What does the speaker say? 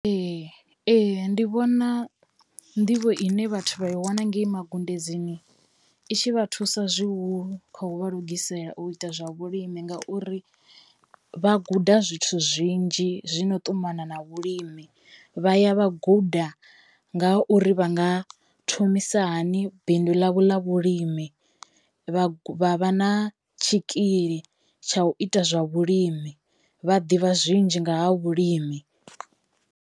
Ee ee ndi vhona nḓivho ine vhathu vha i wana ngei magudedzini i tshi vha thusa zwihulu khou vha lugisela u ita zwa vhulimi, ngauri vha guda zwithu zwinzhi zwino ṱumana na vhulimi vha ya vha guda nga ha uri vha nga thomisa hani bindu ḽavho ḽa vhulimi. Vha vha vha na tshikili tsha u ita zwa vhulimi vha ḓivha zwinzhi nga ha vhulimi.